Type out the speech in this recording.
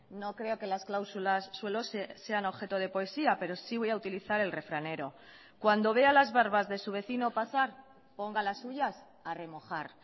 no creo que las cláusulas suelo sean objeto de poesía pero sí voy a utilizar el refranero cuando vea las barbas de su vecino pasar ponga las suyas a remojar